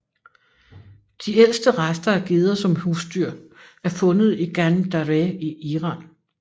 De ældste rester af geder som husdyr er fundet i Ganj Dareh i Iran